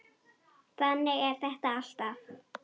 Þannig er þetta alltaf.